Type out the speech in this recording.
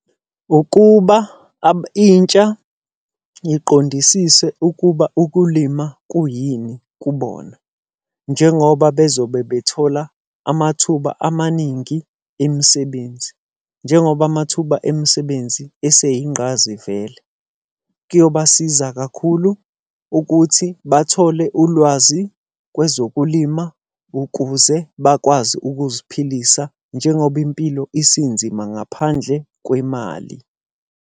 Ukuba intsha iqondisise ukuba ukulima kuyini kubona, njengoba bezobe bethola amathuba amaningi emisebenzi. Njengoba amathuba emisebenzi eseyingqayizivele. Kuyobasiza kakhulu ukuthi bathole ulwazi kwezokulima ukuze bakwazi ukuziphilisa njengoba impilo isinzima ngaphandle kwemali.